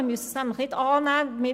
Man muss es nämlich nicht annehmen;